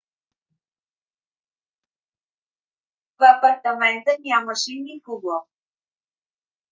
в апартамента нямаше никого